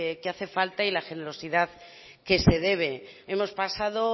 que hace falta y la generosidad que se debe hemos pasado